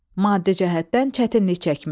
Maddi cəhətdən çətinlik çəkmək.